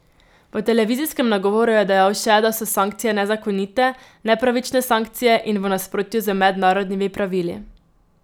V televizijskem nagovoru je dejal še, da so sankcije nezakonite, nepravične sankcije in v nasprotju z mednarodnimi pravili.